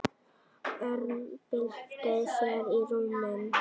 Örn bylti sér í rúminu.